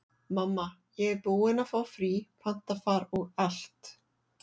Mamma, ég er búin að fá frí, panta far og allt.